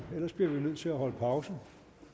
ellers bliver vi jo nødt til at holde pause